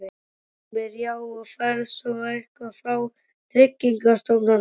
Heimir: Já, og færð svo eitthvað frá Tryggingastofnun eða?